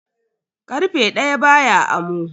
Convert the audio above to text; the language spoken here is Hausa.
Karfe daya baya amo.